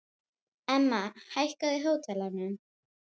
Var hún kannski göldrótt eftir allt saman?